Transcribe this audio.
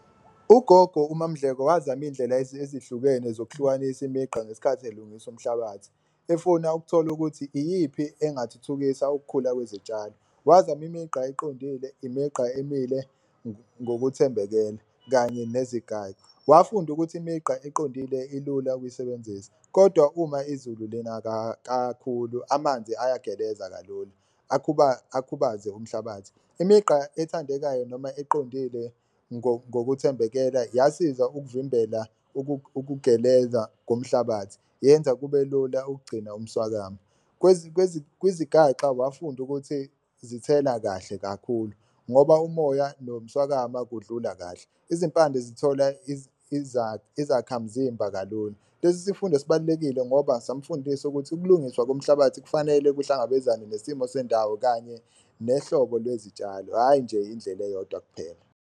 Ugogo uMaMdleko wazama iy'ndlela ezihlukene zokuhlukanisa imigqa ngesikhathi elungisa umhlabathi efuna ukuthola ukuthi iyiphi engathuthukisa ukukhula kwezitshalo. Wazama imigqa eqondile, imigqa emile ngokuthembekela kanye nezinye ngayo. Wafunda ukuthi imigqa iqondile ilula ukuyisebenzisa kodwa uma izulu lina kakhulu amanzi ayageleza kalula akubhaze umhlabathi, migqa ethandekayo noma iqondile ngokuthembela yasiza ukuvimbela ukugeleza komhlabathi yenza kube lula ukugcina umswakamo. Kwizigaxa wafunda ukuthi zithela kahle kakhulu ngoba umoya noma nomswakama kudlula kahle, uzimpande zithola izakhamzimba kalula. Lesi isifundo sibalulekile ngoba samfundisa ukuthi ukulungiswa komhlabathi kufanele kuhlangabezane nesimo sendawo, kanye nehlobo lwezitshalo hhayi nje indlela eyodwa kuphela.